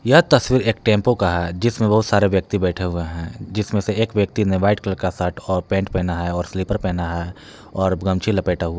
यह तस्वीर एक टेंपो का है जिसमें बहुत सारे व्यक्ति बैठे हुए है। जिसमें से एक व्यक्ति ने व्हाइट कलर का शर्ट और पैंट पहना है और स्लीपर पहना है और गमछी लपेटा हुआ--